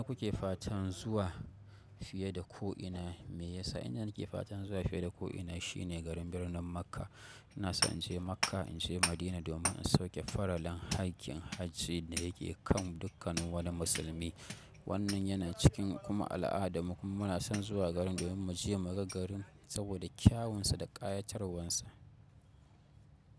Inda kuke fatan zuwa fiye da ko'ina, me yasa inada nake fatan zuwa fiye da ko'ina shine garin birnin Makka. Ina son in je Makka, in je Madina domin in sauke faralin haƙƙin hajji da yake kan dukkan wani musulmi. Wannan yana cikin kuma al'ada mu kuma muna son zuwa garin domin mu je mu ga garin saboda kyawunsa da ƙayatarwansa.